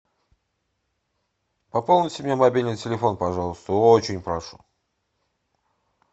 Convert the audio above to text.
пополните мне мобильный телефон пожалуйста очень прошу